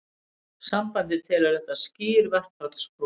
Sambandið telur þetta skýr verkfallsbrot